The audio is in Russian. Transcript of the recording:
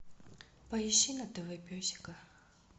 поищи на тв песика